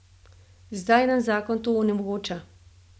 Zdaj nam zakon to onemogoča.